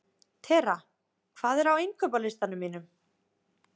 Tera, hvað er á innkaupalistanum mínum?